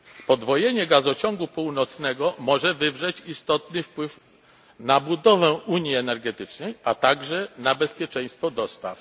Podwojenie Gazociągu Północnego może wywrzeć istotny wpływ na budowę unii energetycznej, a także na bezpieczeństwo dostaw.